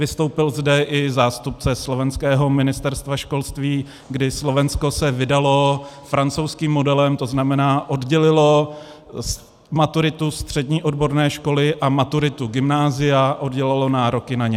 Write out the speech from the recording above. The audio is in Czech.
Vystoupil zde i zástupce slovenského Ministerstva školství, kdy Slovensko se vydalo francouzským modelem, to znamená oddělilo maturitu střední odborné školy a maturitu gymnázia, oddělilo nároky na ně.